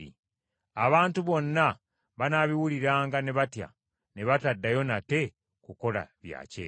Abantu bonna banaabiwuliranga ne batya, ne bataddayo nate kukola bya kyejo.